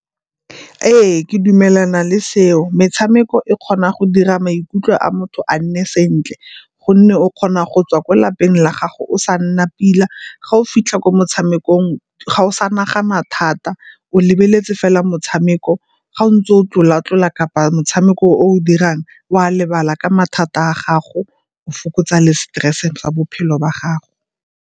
Ee, ke dumelana le seo, metshameko e kgona go dira maikutlo a motho a nne sentle gonne o kgona go tswa kwa lapeng la gago o sa nna pila, ga o fitlha ko motshamekong ga o sa nagana thata o lebeletse fela motshameko. Ga o ntse o tlola-tlola kapa motshameko o o dirang o a lebala ka mathata a gago o fokotsa le stress ka bophelo ba gago.